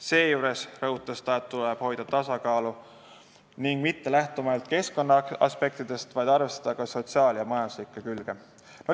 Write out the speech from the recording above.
Seejuures rõhutas ta, et tuleb hoida tasakaalu ning mitte lähtuda ainult keskkonnaaspektidest, vaid arvestada ka sotsiaalset ja majanduslikku külge.